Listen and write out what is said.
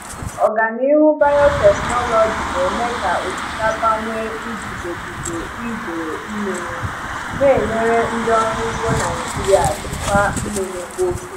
Ọganihu biotechnology na-eme ka osikapa nwee iguzogide idei mmiri, na-enyere ndị ọrụ ugbo Naijiria jikwaa mmiri oge.